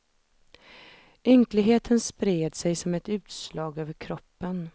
Ynkligheten spred sig som utslag över kroppen.